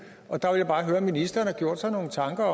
og der vil jeg bare høre om ministeren har gjort sig nogen tanker